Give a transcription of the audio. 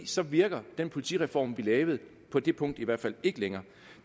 så virker den politireform vi lavede på det punkt i hvert fald ikke længere